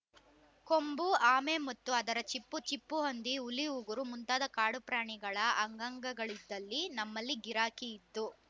ಕೊಂಬು ಆಮೆ ಮತ್ತು ಅದರ ಚಿಪ್ಪು ಚಿಪ್ಪು ಹಂದಿ ಹುಲಿ ಉಗುರು ಮುಂತಾದ ಕಾಡು ಪ್ರಾಣಿಗಳ ಅಂಗಾಂಗಳಿದ್ದಲ್ಲಿ ನಮ್ಮಲ್ಲಿ ಗಿರಾಕಿ ಇತ್ತು